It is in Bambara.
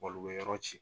u bɛ yɔrɔ ci